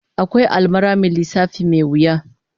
Akwai almara mai lissafi mai wuya